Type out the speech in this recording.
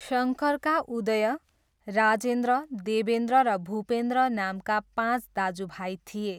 शङ्करका उदय, राजेन्द्र, देबेन्द्र र भूपेन्द्र नामका पाँच दाजुभाइ थिए।